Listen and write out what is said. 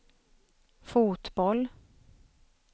fotboll